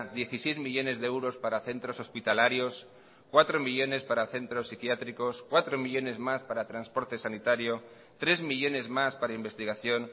dieciséis millónes de euros para centros hospitalarios cuatro millónes para centros psiquiátricos cuatro millónes más para transporte sanitario tres millónes más para investigación